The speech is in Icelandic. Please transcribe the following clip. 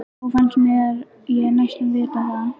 Þó fannst mér ég næstum vita það.